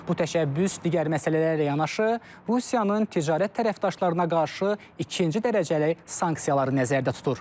Bu təşəbbüs digər məsələlərlə yanaşı, Rusiyanın ticarət tərəfdaşlarına qarşı ikinci dərəcəli sanksiyaları nəzərdə tutur.